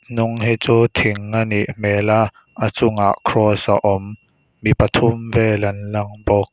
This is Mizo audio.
hnung hi chu thing a nih hmel a a chung ah kross a awm mi pathum vel an lang bawk.